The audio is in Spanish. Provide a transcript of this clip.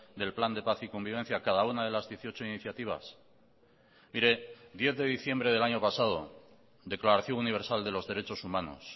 del plan de paz y convivencia cada una de las dieciocho iniciativas mire diez de diciembre del año pasado declaración universal de los derechos humanos